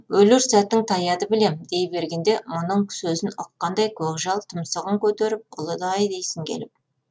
өлер сәтің таяды білем дей бергенде мұның сөзін ұққандай көкжал тұмсығын көтеріп ұлыды ай дейсің келіп